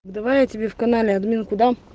давай я тебе в канале админку дам